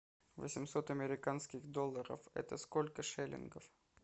восемьсот американских долларов это сколько шиллингов